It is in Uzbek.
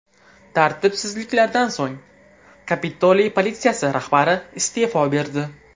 Tartibsizliklardan so‘ng, Kapitoliy politsiyasi rahbari iste’fo berdi .